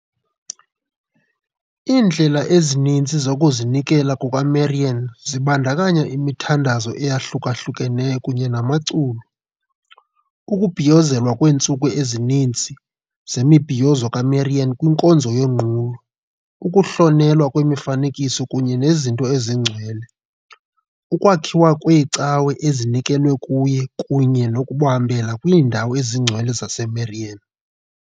Iindlela ezininzi zokuzinikela kukaMarian zibandakanya imithandazo eyahlukahlukeneyo kunye namaculo, ukubhiyozelwa kweentsuku ezininzi zemibhiyozo kaMarian kwinkonzo yonqulo, ukuhlonelwa kwemifanekiso kunye nezinto ezingcwele, ukwakhiwa kweecawe ezinikelwe kuye kunye nokuhambela kwiindawo ezingcwele zaseMarian .